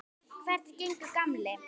Hvernig gengur, gamli